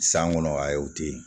San kɔnɔ a y'o to ye